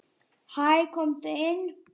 Hæ, komdu inn.